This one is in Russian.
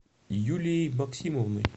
юлией максимовной